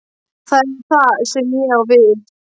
Það er það sem ég á við.